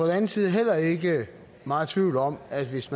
anden side heller ikke meget tvivl om at hvis